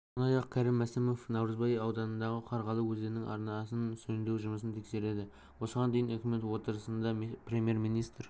сондай-ақ кәрім мәсімов наурызбай ауданындағы қарғалы өзенінің арнасын жөндеу жұмысын тексереді осыған дейін үкімет отырысында премьер-министр